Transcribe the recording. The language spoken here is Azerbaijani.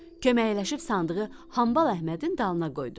Köməkləşib sandığı Hambal Əhmədin dalına qoydular.